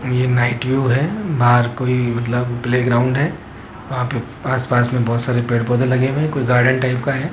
ये night view है बाहर कोई मतलब प्लेग्राउंड है वहां पे आस पास में बहुत सारे पेड़ पौधे लगे हुए हैं कोई गार्डन टाइप का है।